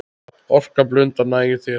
Orka blundar næg í þér.